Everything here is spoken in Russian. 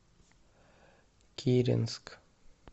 киренск